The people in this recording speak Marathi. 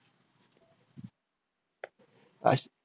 आश